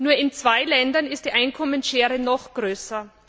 Nur in zwei Ländern ist die Einkommensschere noch größer.